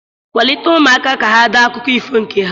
Kwalite ụmụaka ka ha dee akụkọ ifo nke ha.